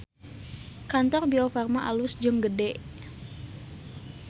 Kantor Biofarma alus jeung gede